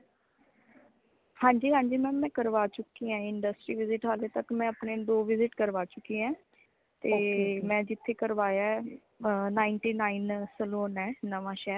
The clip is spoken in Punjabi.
ਹਾਂਜੀ ਹਾਂਜੀ mam ਮੈ ਕਰਵਾ ਚੁੱਕੀ ਹਾਂ industry visit ਹਾਲੇ ਤਕ ਮੈਂ ਅਪਣੇ ਦੋ visit ਕਰਵਾ ਚੁਕੀ ਹੈ। ਤੇ ਮੈ } ਜਿੱਥੇ ਕਰਵਾਇਆ ਹੈ, ਅਹ ninety-nine saloon ਹੈ ਨਵਾਂ ਸ਼ਹਿਰ।